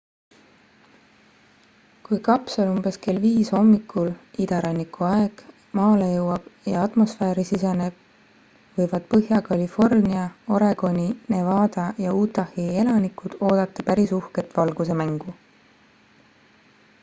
kui kapsel umbes kell 5 hommikul idaranniku aeg maale jõuab ja atmosfääri siseneb võivad põhja-california oregoni nevada ja utahi elanikud oodata päris uhket valgusemängu